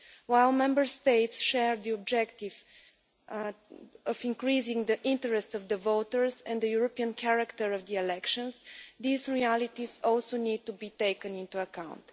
While Member States share the objective of increasing the interest of the voters and the European character of the elections, these realities also need to be taken into account.